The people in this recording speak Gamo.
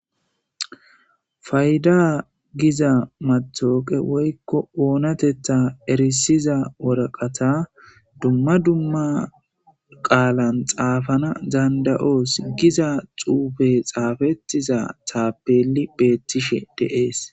Payda giza matawuqe woykko oonatetha erisiza woraqata dumma dumma qaalan xaafana danda7oos giza xuufe xaafettiza taapeli beettishe de7ees.